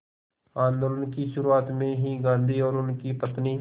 आंदोलन की शुरुआत में ही गांधी और उनकी पत्नी